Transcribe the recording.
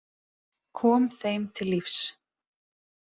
Kom þeim til lífs.